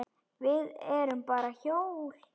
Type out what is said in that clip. Við erum bara hjól.